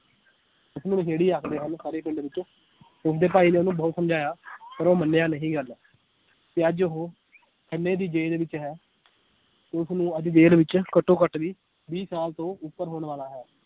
ਉਸਨੂੰ ਨਸ਼ੇੜੀ ਆਖਦੇ ਹਨ ਸਾਰੇ ਪਿੰਡ ਵਿਚ ਉਸਦੇ ਭਾਈ ਨੇ ਉਹਨੂੰ ਬਹੁਤ ਸਮਝਾਇਆ ਪਰ ਉਹ ਮੰਨਿਆ ਨਹੀ ਗੱਲ ਤੇ ਅੱਜ ਉਹ ਖੰਨੇ ਦੀ ਜੇਲ ਵਿਚ ਹੈ ਉਸਨੂੰ ਅੱਜ ਜੇਲ ਵਿੱਚ ਘੱਟੋ ਘੱਟ ਵੀਹ, ਵੀਹ ਸਾਲ ਤੋਂ ਉੱਪਰ ਹੋਣ ਵਾਲਾ ਹੈ।